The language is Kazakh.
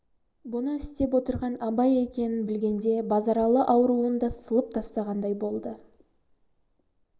бұны істеп отырған абай екенін білгенде базаралы ауруын да сылып тастағандай болды